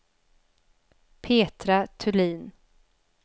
Petra Thulin